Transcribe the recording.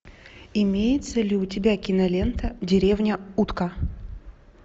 имеется ли у тебя кинолента деревня утка